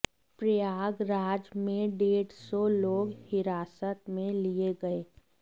प्रयागराज में डेढ़ सौ लोग हिरासत में लिए गए